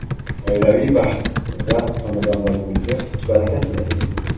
oilaviy baxt va xonadonlaringizga qut-baraka tilaymiz.